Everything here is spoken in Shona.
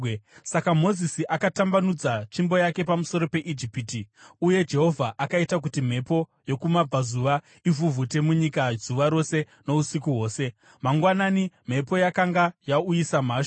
Saka Mozisi akatambanudza tsvimbo yake pamusoro peIjipiti, uye Jehovha akaita kuti mhepo yokumabvazuva ivhuvhute munyika zuva rose nousiku hwose. Mangwanani, mhepo yakanga yauyisa mhashu;